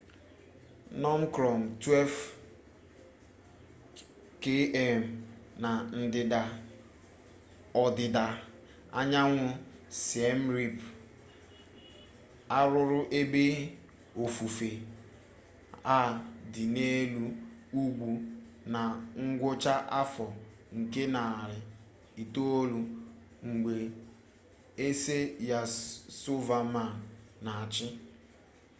fnọm krọm 12 km na ndịda ọdịda anyanwụ siem rip arụrụ ebe ofufe a dị n'elu ugwu na ngwụcha afọ nke narị itolu mgbe eze yasovaman na-achị